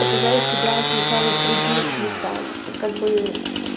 показали себя сначала в других местах как бы